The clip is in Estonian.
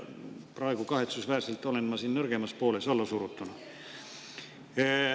Praegu, kahetsusväärselt, olen ma siin nõrgemal poolel allasurutuna.